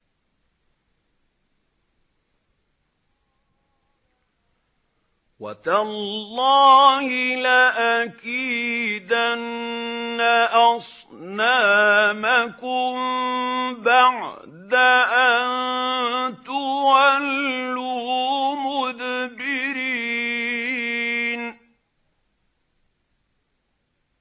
وَتَاللَّهِ لَأَكِيدَنَّ أَصْنَامَكُم بَعْدَ أَن تُوَلُّوا مُدْبِرِينَ